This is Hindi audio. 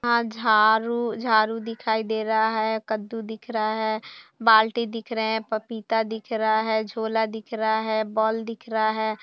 अ झाड़ू झाड़ू दिखाई दे रहा है कददू दिख रहा है बाल्टी दिख रहा है पपीता दिख रहा है झोला दिख रहा है बॉल दिख रहा है।